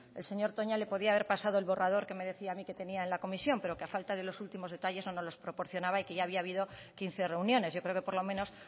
el señor toña le podía haber pasado el borrador que me decía a mí que tenía en la comisión pero que a falta de los últimos detalles no nos lo proporcionaba y que ya había habido quince reuniones yo creo que por lo menos